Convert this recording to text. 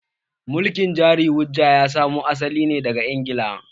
Mulkin jari-hujja ya samo asali ne daga Ingila.